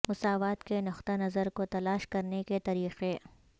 مساوات کے نقطہ نظر کو تلاش کرنے کے طریقے